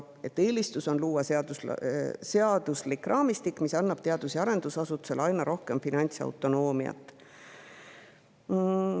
Eelistus on luua seaduslik raamistik, mis annab teadus‑ ja arendusasutustele aina rohkem finantsautonoomiat.